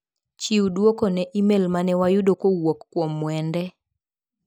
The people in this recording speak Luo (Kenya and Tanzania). Chiw duoko ne imel mane wayudo kowuok kuom Mwende.